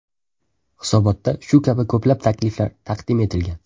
Hisobotda shu kabi ko‘plab takliflar taqdim etilgan.